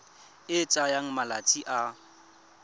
e e tsayang malatsi a